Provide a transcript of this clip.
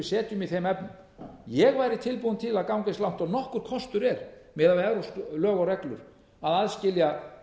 setjum í þeim efnum ég væri tilbúinn til að ganga eins langt og nokkur kostur er miðað við evrópsk lög og reglur að aðskilja